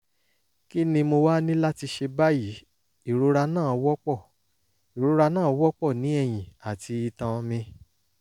kí ni mo wá ní láti ṣe báyìí? ìrora náà wọ́pọ̀ ìrora náà wọ́pọ̀ ní ẹ̀yìn àti itan mi